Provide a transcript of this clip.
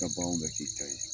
I Ka bagaw bɛɛ k'i ta ye